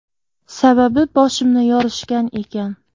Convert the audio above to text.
Sababi boshimni yorishgan ekan.